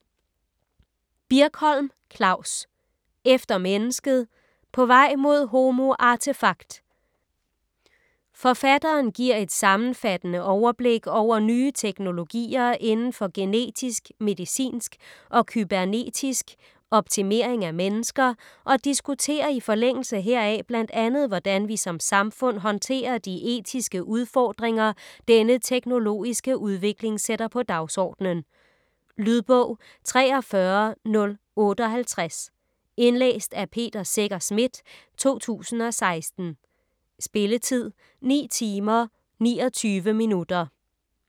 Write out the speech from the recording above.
Birkholm, Klavs: Efter mennesket: på vej mod homo artefakt Forfatteren giver et sammenfattende overblik over nye teknologier inden for genetisk, medicinsk og kybernetisk optimering af mennesker, og diskuterer i forlængelse heraf bl.a. hvordan vi som samfund håndterer de etiske udfordringer denne teknologiske udvikling sætter på dagsordenen. Lydbog 43058 Indlæst af Peter Secher Schmidt, 2016. Spilletid: 9 timer, 29 minutter.